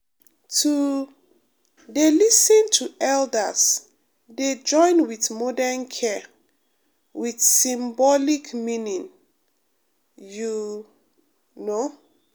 to um dey lis ten to elders dey join with modern care with symbolic meaning you um know